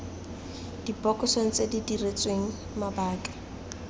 dibokosong tse di diretsweng mabaka